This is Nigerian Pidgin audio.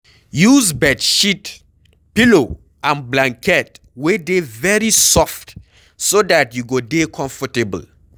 Use bedsheet, pillow and blanket wey dey very soft so dat you go dey comfortable